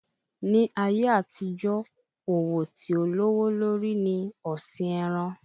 Ní ayé àtijó, òwò tí ó lówó lórí ni ọ̀sìn ẹran.